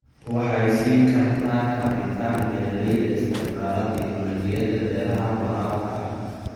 Waxay siin kartaa kabitaan beeralayda isticmaala tignoolajiyada beeraha waraabka ah.